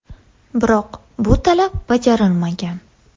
Biroq bu talab bajarilmagan.